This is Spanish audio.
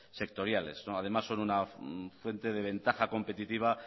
sectoriales además son una fuente de ventaja competitiva